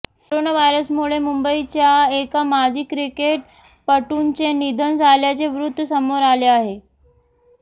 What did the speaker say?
corona व्हायरसमुळे मुंबईच्या एका माजी क्रिकेटपटूंचे निधन झाल्याचे वृत्त समोर आले आहे